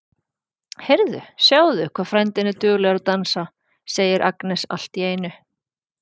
Heyrðu, sjáðu hvað frændi þinn er duglegur að dansa, segir Agnes allt í einu.